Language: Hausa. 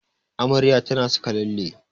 Amaryar ta na saka lalle